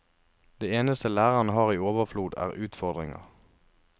Det eneste lærerne har i overflod, er utfordringer.